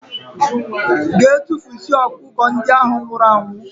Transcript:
Gee tufusie ọkụkọ ndị ahụ nwụrụ anwụ!!!